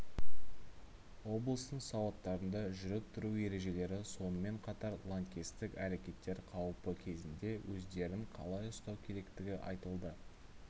облыстың суаттарында жүріп-тұру ережелері сонымен қатар лаңкестік әрекеттер қауіпі кезінде өздерін қалай ұстау керектігі айтылды